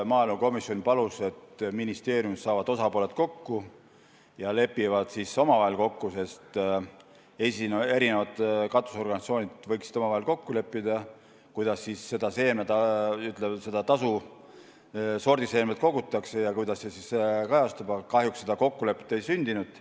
Maaelukomisjon palus, et ministeeriumis saavad osapooled kokku ja lepivad siis omavahel kokku, sest eri katusorganisatsioonid võiksid omavahel kokku leppida, kuidas seda tasu sordiseemnelt kogutakse ja kuidas see siis kajastub, aga kahjuks kokkulepet ei sündinud.